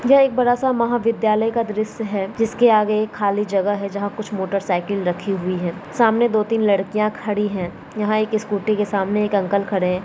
ये एक बडासा महावीध्यालय का दृश है जिसके आगे एक खाली जगह है जहा कुछ मोटरसायकल रखी हुई है सामने दो तीन लडकीय खड़ी हुई है यहा एक स्कूटी के सामने एक अंकल खड़े है।